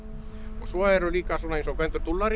svo eru líka svona eins og Gvendur